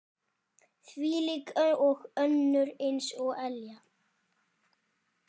Þvílík og önnur eins elja.